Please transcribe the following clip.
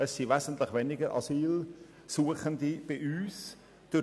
Es handelt sich um wesentlich weniger Asylsuchende, welche sich im Kanton Bern aufhalten.